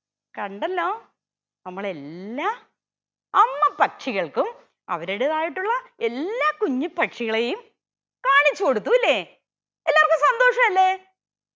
കണ്ടല്ലോ നമ്മൾ എല്ലാ അമ്മപ്പക്ഷികൾക്കും അവരുടേതായിട്ടുള്ള എല്ലാ കുഞ്ഞിപ്പക്ഷികളെയും കാണിച്ചു കൊടുത്തുല്ലേ എല്ലാർക്കും സന്തോഷല്ലേ